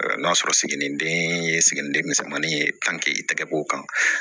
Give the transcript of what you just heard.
N'a sɔrɔ siginiden siginiden misɛnmanin ye i tɛgɛko kan